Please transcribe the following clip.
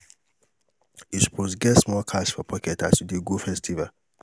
you suppose get small cash for pocket as you dey go festival.